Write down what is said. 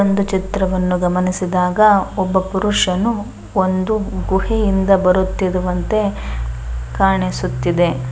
ಒಂದು ಚಿತ್ರವನ್ನು ಗಮನಿಸಿದಾಗ ಒಬ್ಬ ಪುರುಷನು ಒಂದು ಗುಹೆ ಇಂದ ಬರುತ್ತಿರುವಂತೆ ಕಾಣಿಸುತ್ತಿದೆ.